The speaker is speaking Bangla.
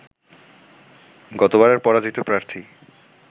গতবারের পরাজিত প্রার্থী